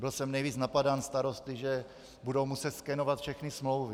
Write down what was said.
Byl jsem nejvíc napadán starosty, že budou muset skenovat všechny smlouvy.